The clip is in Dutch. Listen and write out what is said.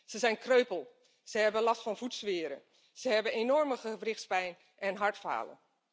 Ze zijn kreupel, ze hebben last van voetzweren, ze hebben enorme gewrichtspijn en hartfalen.